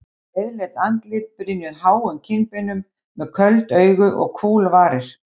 Breiðleit andlit brynjuð háum kinnbeinum, með köld augu og kúl varir.